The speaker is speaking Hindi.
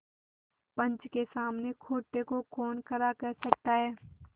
पंच के सामने खोटे को कौन खरा कह सकता है